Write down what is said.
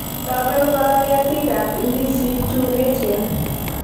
Toben Koro ketikab ndisik chu eechen!